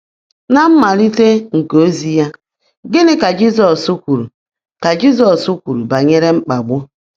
Na mmalite nke ozi ya, gịnị ka Jizọs kwuru ka Jizọs kwuru banyere mkpagbu?